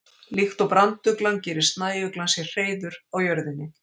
Líkt og branduglan gerir snæuglan sér hreiður á jörðinni.